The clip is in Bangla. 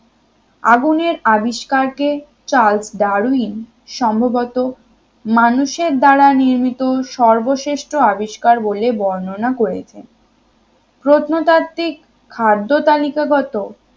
আগুনের আবিষ্কার কে চার্লস ডারউইন সম্ভবত মানুষের দ্বারা নিয়মিত সর্বশ্রেষ্ঠ আবিষ্কার বলে বর্ণনা করেছেন প্রত্নতাত্বিক খাদ্য তালিকা গত